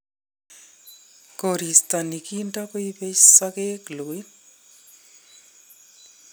Koristo nikinto kuibei sokek loin .